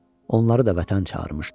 Onları da Vətən çağırmışdı.